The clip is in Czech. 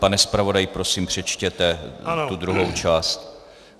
Pane zpravodaji, prosím, přečtěte tu druhou část.